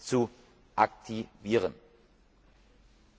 Preissignal.